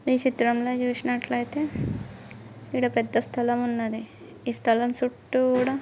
ఈ చిత్రంలో చూసినట్లయితే ఇక్కడ పెద్ద స్థలం ఉన్నది. ఈ స్థలం చుట్టూరా--